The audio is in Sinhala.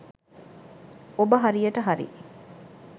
ඔබ හරියට හරි